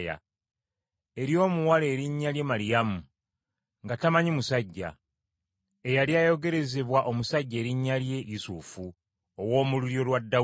eri omuwala erinnya lye Maliyamu, nga tamanyi musajja, eyali ayogerezebwa omusajja erinnya lye Yusufu, ow’omu lulyo lwa Dawudi.